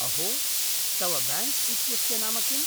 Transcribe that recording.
अहो, तव ब्याङ्क् इत्यस्य नाम किम्?